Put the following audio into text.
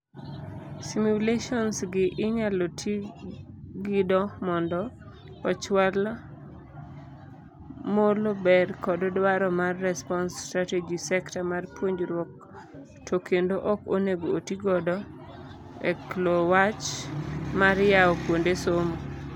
Simulations gi inyalo tii gido mondo ochwal molo ber kod dwaro mar response strategy sekta mar puonjruok to kendo ok onego otii godo eklo wach mar yao kuonde somo.